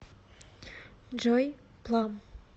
джой плам